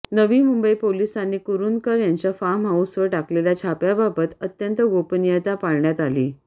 नवी मुंबई पोलिसांनी कुरूंदकर याच्या फार्म हाऊसवर टाकलेल्या छाप्याबाबत अत्यंत गोपनीयता पाळण्यात आली